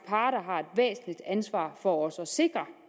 parter har et væsentligt ansvar for også at sikre